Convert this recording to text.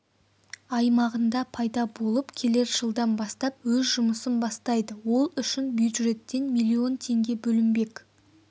аймағында пайда болып келер жылдан бастап өз жұмысын бастайды ол үшін бюджеттен миллион теңге бөлінбек